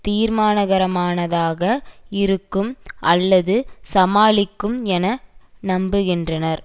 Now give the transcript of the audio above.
தீர்மானகரமானதாக இருக்கும் அல்லது சமாளிக்கும் என நம்புகின்றனர்